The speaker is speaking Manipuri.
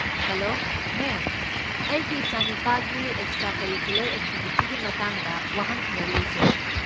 ꯍꯦꯂꯣ, ꯃꯦꯝ, ꯑꯩꯒꯤ ꯏꯆꯥꯅꯨꯄꯥꯒꯤ ꯑꯦꯛꯁꯇ꯭ꯔꯥ ꯀꯔꯤꯀꯨꯂꯔ ꯑꯦꯛꯇꯤꯚꯤꯇꯤꯒꯤ ꯃꯇꯥꯡꯗ ꯋꯥꯍꯪ ꯈꯔ ꯂꯩꯖꯩ꯫